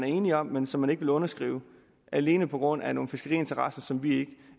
enighed om men som man ikke vil underskrive alene på grund af nogle fiskeriinteresser som vi ikke